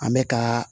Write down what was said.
An bɛ ka